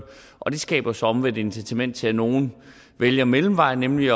og det skaber så omvendt incitament til at nogle vælger mellemvejen nemlig